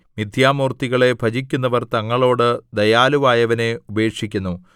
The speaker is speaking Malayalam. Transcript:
മിഥ്യാമൂർത്തികളെ ഭജിക്കുന്നവർ തങ്ങളോട് ദയാലുവായവനെ ഉപേക്ഷിക്കുന്നു